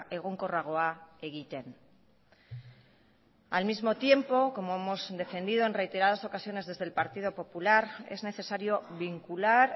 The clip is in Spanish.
egonkorragoa egiten al mismo tiempo como hemos defendido en reiteradas ocasiones desde el partido popular es necesario vincular